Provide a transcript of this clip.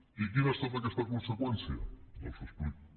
i quina ha estat aquesta conseqüència doncs l’explico